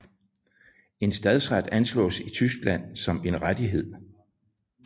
En stadsret ansås i Tyskland som en rettighed